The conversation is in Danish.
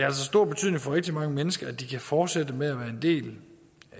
altså stor betydning for rigtig mange mennesker at de kan fortsætte med at være en del